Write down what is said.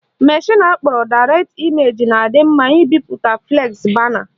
Mashịn akpọrọ Direct Image na-adị mma ibipụta flexi bana